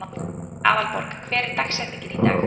Aðalborg, hver er dagsetningin í dag?